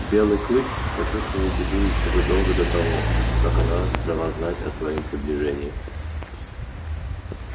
белый клык почувствовал беду ещё задолго до того как она дала знать о своём приближении